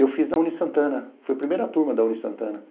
Eu fiz na Unisantana, fui a primeira turma da Unisantana.